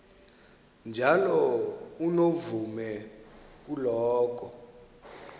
njalo unomvume kuloko